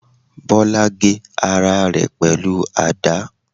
Bola gé ara rẹ pẹlu àda